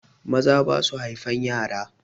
Maza basu haifan yara.